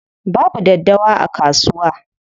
Babu daddawa a kasuwa.